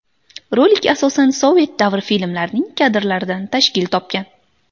Rolik asosan sovet davri filmlarining kadrlaridan tashkil topgan.